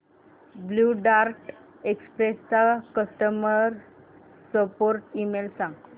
blue dart express चा customer support email सांग